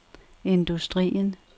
industrien